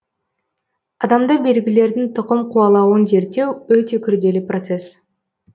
адамда белгілердің тұқым қуалауын зерттеу өте күрделі процесс